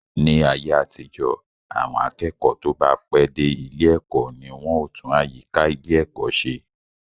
Ní ayé àtijọ́, àwọn akẹ́kọ̀ọ́ tó bá pẹ́ dé ilé ẹ̀kọ́ ni wọn ó tún àyíká ilé ẹ̀kọ́ se